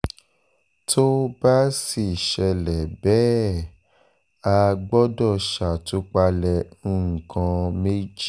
tó bá sì ṣẹlẹ̀ bẹ́ẹ̀ á gbọ́dọ̀ ṣàtúpalẹ̀ nǹkan méjì